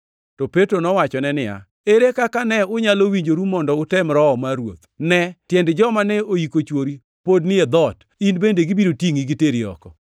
To Petro nowachone niya, “Ere kaka ne unyalo winjoru mondo utem Roho mar Ruoth? Ne! Tiend joma ne oyiko chwori pod ni e dhoot, in bende gibiro tingʼi giteri oko.”